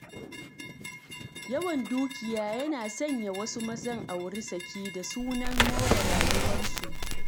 Yawan dukiya yana sanya wasu mazan, auri saki, da sunan more rayuwarsu.